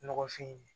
Nɔgɔfin